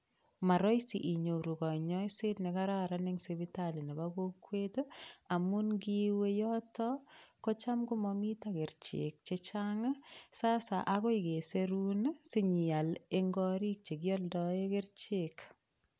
Morahisi inyoru kanyoiset ne kararan eng sipitali nebo kokwet ii, amun ngiwe yoto kocham komomito kerchek che chang, sasa agoi keserun ii sinyeal eng gorik che kialdoe kerchek.